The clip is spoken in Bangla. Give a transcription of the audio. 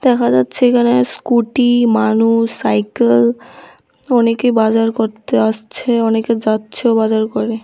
দেখা যাচ্ছে এখানে স্কুটি মানুষ সাইকেল অনেকেই বাজার করতে আসছে অনেকে যাচ্ছেও বাজার করে।